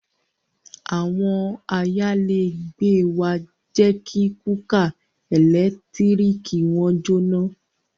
Àwọn ayálégbé wa jẹ́ kí kúkà ẹ̀lẹ́tíríkì wọn jóná